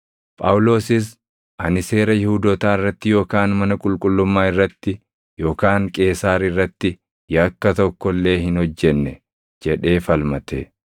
Phaawulosis, “Ani seera Yihuudootaa irratti yookaan mana qulqullummaa irratti yookaan Qeesaar irratti yakka tokko illee hin hojjenne” jedhee falmate.